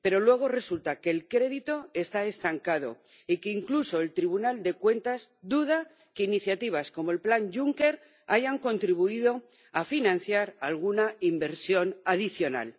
Pero luego resulta que el crédito está estancado y que incluso el Tribunal de Cuentas duda de que iniciativas como el Plan Juncker hayan contribuido a financiar alguna inversión adicional.